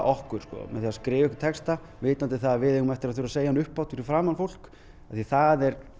okkur með því að skrifa einhvern texta vitandi að við eigum eftir að segja hann upphátt fyrir framan fólk því það er